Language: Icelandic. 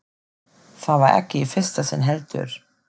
Það var ekki í fyrsta sinn, heldur.